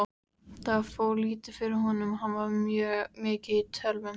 Það fór lítið fyrir honum, hann var mikið í tölvum.